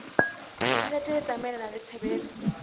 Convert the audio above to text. ditjhelete e tsamaelana le tshebetso